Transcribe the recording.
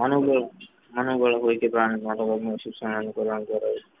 માનવ વાળા હોય તે પ્રાણી મોટા ભાગના શિક્ષણ